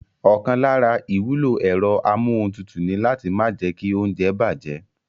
Ọ̀kan lára ìwúlò ẹ̀rọ amúohuntutù ni láti má jẹ́kí óúnjẹ bàjẹ́